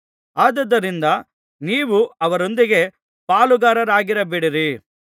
ಆದುದರಿಂದ ನೀವು ಅವರೊಂದಿಗೆ ಪಾಲುಗಾರರಾಗಿರಬೇಡಿರಿ